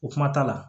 O kuma t'a la